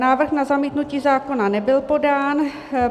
Návrh na zamítnutí zákona nebyl podán.